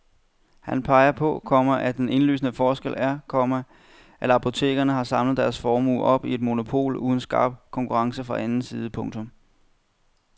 Han peger på, komma at den indlysende forskel er, komma at apotekerne har samlet deres formue op i et monopol uden skarp konkurrence fra anden side. punktum